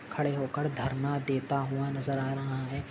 खड़े होकड धर्मा देता हुआ नजर आ रहा है।